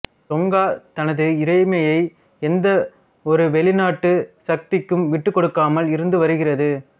Tonga தனது இறைமையை எந்த ஒரு வெளிநாட்டு சக்திக்கும் விட்டுக் கொடுக்காமல் இருந்து வருகிறது